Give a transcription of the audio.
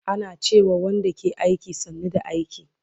Ana ce ma Wanda ke aiki, sannu da aiki